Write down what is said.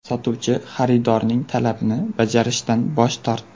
Sotuvchi xaridorning talabini bajarishdan bosh tortdi.